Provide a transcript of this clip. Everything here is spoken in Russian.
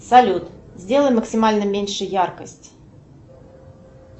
салют сделай максимально меньше яркость